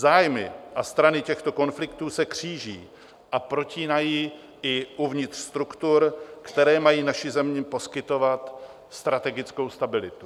Zájmy a strany těchto konfliktů se kříží a protínají i uvnitř struktur, které mají naší zemi poskytovat strategickou stabilitu.